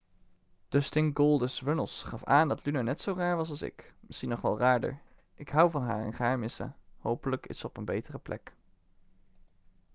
dustin goldust' runnels gaf aan dat luna net zo raar was als ik misschien nog wel raarder ik hou van haar en ga haar missen hopelijk is ze op een betere plek'